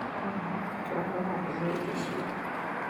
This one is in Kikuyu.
Haha, turarora ndũmĩrĩri cia